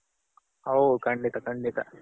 ಹೌದು ಖಂಡಿತ ಖಂಡಿತ.